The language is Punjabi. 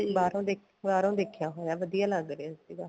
ਬਾਹਰੋ ਬਾਹਰੋ ਦੇਖਿਆ ਹੋਇਆ ਵਧੀਆ ਲੱਗ ਰਿਹਾ ਸੀਗਾ